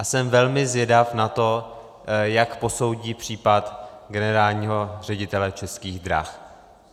A jsem velmi zvědav na to, jak posoudí případ generálního ředitele Českých drah.